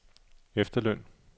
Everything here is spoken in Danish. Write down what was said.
efterløn